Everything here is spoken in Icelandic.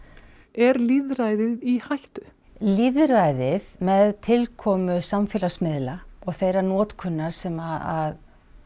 er lýðræðið í hættu lýðræðið með tilkomu samfélagsmiðla og þeirra notkunar sem